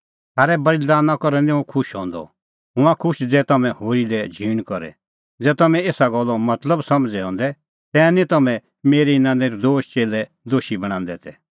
थारै बल़ीदाना करै निं हुंह खुश हंदअ हुंह हआ खुश ज़ै तम्हैं होरी लै झींण करे ज़ै तम्हां एसा गल्लो मतलब समझ़ै हंदै तै निं तम्हैं मेरै इना नर्दोश च़ेल्लै दोशी बणांदै तै